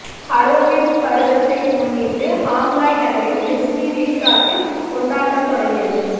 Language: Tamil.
ஹாலோவீன் பருவத்தை முன்னிட்டு ஷாங்காய் நகரின் டிஸ்னி ரிசார்ட்டில் கொண்டாட்டம் தொடங்கியது